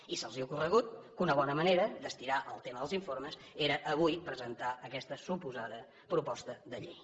i se’ls ha ocorregut que una bona manera d’estirar el tema dels informes era avui presentar aquesta suposada proposta de llei